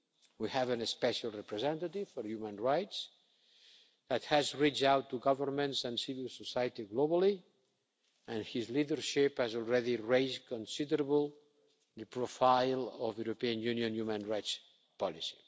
We have a special representative for human rights that has reached out to governments and civil society globally and his leadership has already raised considerably the profile of the European Union human rights policy.